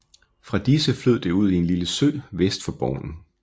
Fra disse flød det ud i en lille sø vest for Borgen